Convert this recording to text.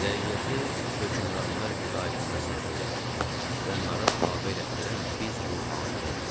Rəiyyəti hökmranlar itaətində saxlayan, onlara tabe elətdirən biz ruhanilərik.